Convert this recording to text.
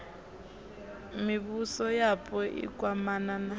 mivhuso yapo i kwamana na